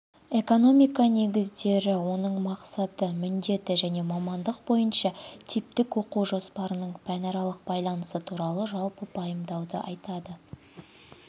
экономика негіздері оның мақсаты міндеті және мамандық бойынша типтік оқу жоспарының пәнаралық байланысы туралы жалпы пайымдауды айтады